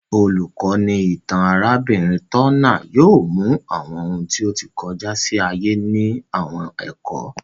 Olukọni itan arabinrin Turner yóò mú awọn òun ti o tí kọjá sí ayé ni àwọn ẹkọ